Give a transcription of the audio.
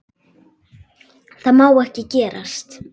Það má ekki gerast.